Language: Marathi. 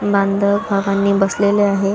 बांधव बसलेले आहे.